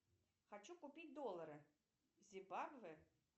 хочу купить доллары зимбабве